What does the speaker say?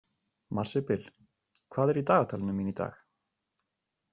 Marzibil, hvað er í dagatalinu mínu í dag?